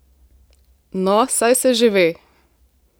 No, saj se že ve!